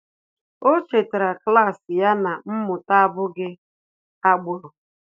Ọ́ chètàrà klas ya na mmụta ábụ́ghị́ ágbụ́rụ́.